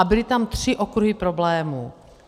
A byly tam tři okruhy problémů.